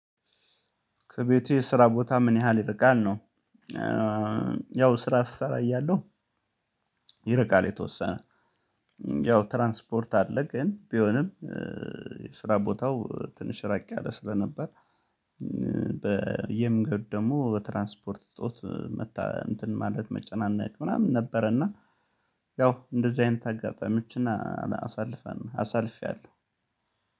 ከቤቴ ስራ ቦታ ምን ያህል ይርቃል ነው? ያው ስራ ስሰራ እያለሁ ይርቃል የተወሰነ ያው ትራንስፖርት አለ ግን ቢሆንም የስራ ቦታው ትንሽ ራቅ ያለ ስለነበር። በየመንገድ ደግሞ በትራንስፖርት እጦት ማለት መጨናነቅ ምናምን ነበረ እና ያው እንደዚህ አይነት አጋጣሚዎችን አሳልፈን አሳልፌያለሁ።